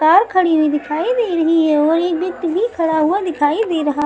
car खड़ी हुई दिखाई दे रही है और एक भी खड़ा हुआ दिखाई दे रहा--